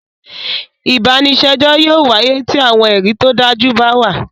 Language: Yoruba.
Ìbànisẹjọ yóò wàye ti awọn ẹri to daju ba wa